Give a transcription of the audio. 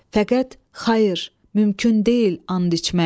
Fəqət xayır, mümkün deyil and içmək.